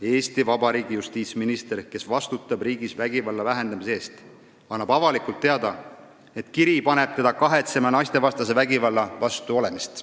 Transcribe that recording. " Eesti Vabariigi justiitsminister, kes vastutab riigis vägivalla vähendamise eest, annab avalikult teada, et üks kiri on pannud teda kahetsema naistevastase vägivalla vastu olemist.